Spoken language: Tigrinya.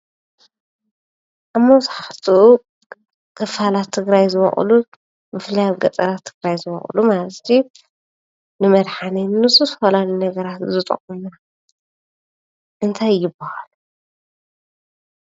ኣብ መብዛሕተኡ ክፋላት ትግራይ ዝበቕሉን ብፍላይ ኣብ ገጠራት ትግራይ ዝበቕሉ ማለት እዩ ንመድሓኒት ንዝተፈላለዩ ነገራት ዝጠቕሙ እንታይ ይበሃሉ?